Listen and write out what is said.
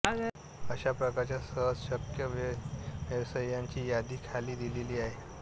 अशा प्रकारच्या सहजशक्य व्यवसायांची यादी खाली दिलेली आहे